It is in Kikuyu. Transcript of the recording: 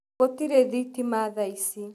Gũtĩrĩ thĩtĩma thaa ĩcĩ.